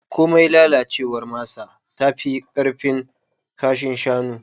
Komai lalacewar masa tafi ƙarfin kashin shanu.